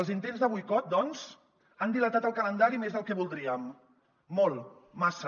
els intents de boicot doncs han dilatat el calendari més del que voldríem molt massa